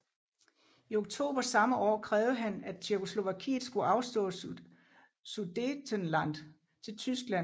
I oktober samme år krævede han at Tjekkoslovakiet skulle afstå Sudetenland til Tyskland